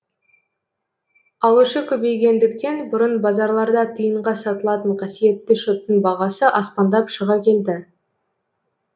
алушы көбейгендіктен бұрын базарларда тиынға сатылатын қасиетті шөптің бағасы аспандап шыға келді